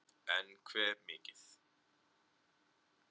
en hve mikið